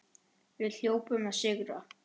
Við hljótum að sigra